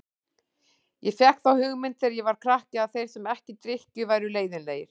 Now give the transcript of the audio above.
Ég fékk þá hugmynd þegar ég var krakki að þeir sem ekki drykkju væru leiðinlegir.